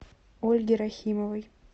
ольге рахимовой